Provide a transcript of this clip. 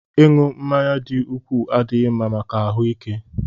Ịṅụ mmanya dị ukwuu adịghị mma maka ahụ ike